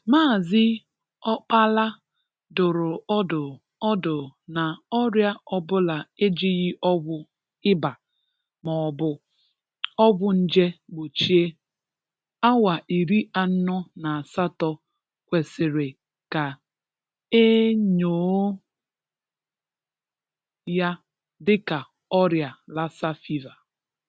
Mààzị́ Ọkpàlà dụ̀rụ̀ ọdụ̀ ọdụ̀ ná ọrịa ọ̀bụ̀la ejighị́ ọgwụ ị̀bà maọ̀bụ̀ ọgwụ nje gbochìe, áwá ìrì anọ̀ ná àsatọ̀ kwesìrì ka e enyọọ́ ya dị́ka ọrịa Lassa fever."